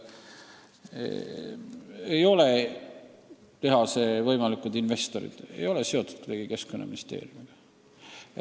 Ei ole tehase võimalikud investorid kuidagi seotud Keskkonnaministeeriumiga.